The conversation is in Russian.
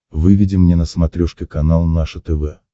выведи мне на смотрешке канал наше тв